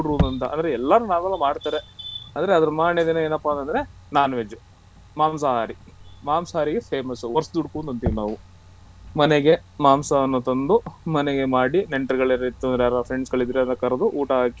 ಅಂದ್ರೆ ಎಲ್ಲ ಮಾಮೂಲಾಗಿ ಮಾಡ್ತಾರೆ ಅಂದ್ರೆ ಅದರ ಮಾರನೇ ದಿನ ಏನಪ್ಪಾ ಅಂದ್ರೆ non veg ಮಾಂಸಾಹಾರಿ ಮಾಂಸಹಾರಿಗೆ famous ವರಸದುಡುಕು ಅಂತ ಅಂತಿವಿ ನಾವು ಮನೆಗೆ ಮಾಂಸವನ್ನು ತಂದು ಮನೆಗೆ ಮಾಡಿ ನೆಂಟರ್ಗಳು ಯಾರದ್ರು ಇತ್ತು ಅಂತಾದ್ರೆ friends ಇದ್ರೆ ಅವರ ಕರ್ದು ಊಟ ಹಾಕಿ